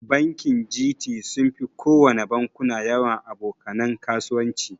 Bankin Gt sunfi kowana bankuna yawan aboka nan kasuwanci.